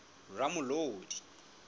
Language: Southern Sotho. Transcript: ramolodi